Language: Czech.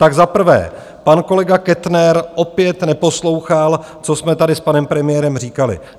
Tak za prvé, pan kolega Kettner opět neposlouchal, co jsme tady s panem premiérem říkali.